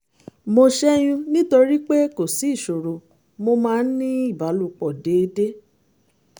mo ṣẹ́yún nítorí pé kò sí ìṣòro mo máa ń ní ìbálòpọ̀ déédé